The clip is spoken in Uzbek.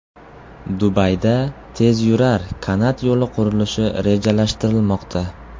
Dubayda tezyurar kanat yo‘li qurilishi rejalashtirilmoqda.